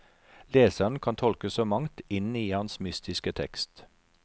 Leseren kan tolke så mangt inn i hans mystiske tekst.